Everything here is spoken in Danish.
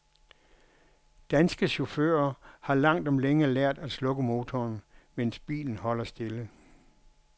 Danske chauffører har langt om længe lært at slukke motoren, mens bilen holder stille.